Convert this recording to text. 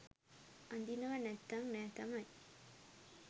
අඳිනව නැත්තං නෑ තමයි